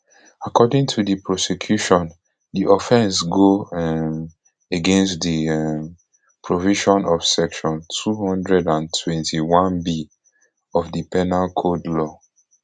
according to di prosecution di offence go um against di um provision of section two hundred and twenty-oneb of di penal code law